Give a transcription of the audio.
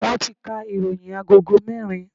Wọn ti ka ìròyìn agogo merin